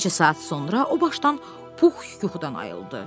Bir neçə saat sonra o başdan Pux yuxudan ayıldı.